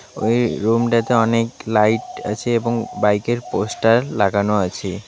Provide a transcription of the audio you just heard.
ওই রুমটাতে অনেক লাইট আছে এবং বাইকের পোস্টার লাগানো আছে .